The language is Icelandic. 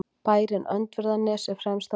Bærinn Öndverðarnes er fremst á myndinni.